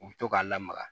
U bɛ to k'a lamaga